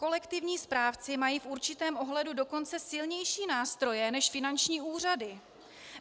Kolektivní správci mají v určitém ohledu dokonce silnější nástroje než finanční úřady.